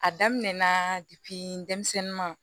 A daminɛ na depi denmisɛnnin ma